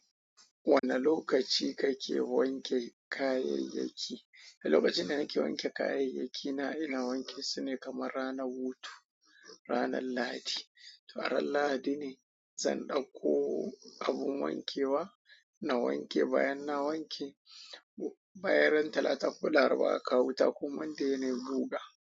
Wane lokaci kake wanke kayayyaki? Lokacin da nake wanke kayayyakina, ina wanke su ne kamar ranar hutu, ranar Lahadi. To a ran Lahadi ne zan ɗaukko abun wankewa na wanke. Bayan na wanke, bayan ran talata ko laraba aka wuta kuma dai na buga.